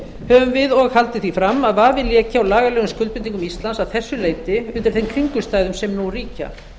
höfum við og haldið því fram að vafi léki á lagalegum skuldbindingum íslands að þessu leyti undir þeim kringumstæðum sem nú ríkja